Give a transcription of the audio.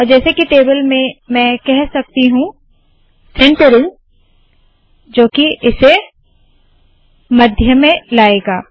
और जैसे के टेबल में मैं कह सकती हूँ सेंटरिंग सेन्टरिंग जो की इसे मध्य में लाएगा